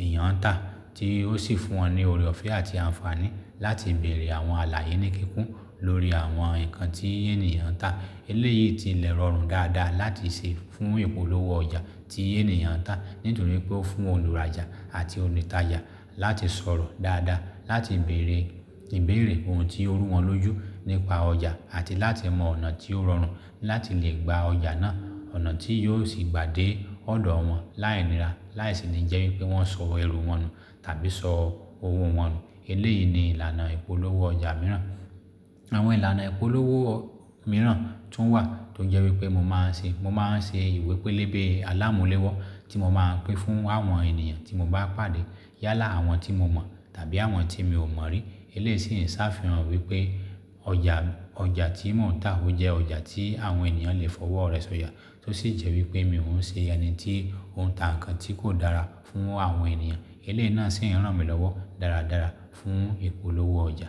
èèyàn ń tà tí ó sì fún wọn ní òréọ̀fẹ́ àti àǹfààní láti bèèrè àwọn àlàyé níkíkún lórí àwọn nǹkan tí ènìyàn ń tà. Eléyìí ti lẹ̀ rọrùn dáadáa láti ṣe fún ìpolówó ọjà tí ènìyàn ń tà. Nítorí pé ó fún olùrajà àti onìtajà láti sọ̀rọ̀ dáadáa láti bèèrè, ìbéèrè ohun tí ń rú wọn lójú nípa ọjà àti láti mọ ọ̀nà tí ó rọrùn láti lè gba ọjà náà. Ọ̀nà tí yóò sì gba dé ọ̀dọ̀ wọn láì nira láìsí ní jẹ́ wípé wọ́n sọ ẹrú wọn nu tàbí sọ òwò wọn nu. Eléyìí ni ìlànà ìpolówó ọjà mìíràn. Àwọn ìlànà ìpolówó mìíràn tún wà tó jẹ́ wípé mo máa ń ṣe, mo máa ń ṣe ìwé pélébé alámúlẹ́wọ́ tí mo máa pín fún àwọn ènìyàn tí mo bá pàdé. Yálà àwọn tí mo mọ̀ tàbí àwọn tí mi ò mọ̀ rí. Eléyìí sì ń ṣàfihàn wípé ọjà, ọjà tí mò ń tà ó jẹ́ ọjà tí àwọn ènìyàn lè fọwọ́ rẹ̀ sọjà tó sì jẹ́ wípé mi ò ń ṣe ẹni tí ó ń tà nǹkan tí kò dára fún àwọn ènìyàn. Eléyìí náà sì ń ràn mí lọ́wọ́ dáradára fún ìpolówó ọjà.